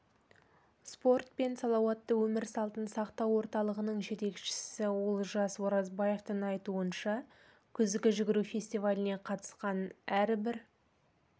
спорт пен салауатты өмір салтын сақтау орталығының жетекшісі олжас оразбаевтың айтуынша күзгі жүгіру фестиваліне қатысқан әрбір